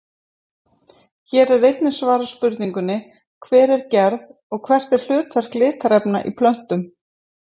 Hér er einnig svarað spurningunni Hver er gerð og hvert er hlutverk litarefna í plöntum?